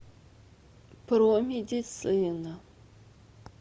промедицина